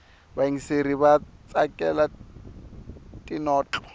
vayingiseri vatsakela tinotlo